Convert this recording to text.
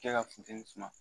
Kɛ ka funtɛni suma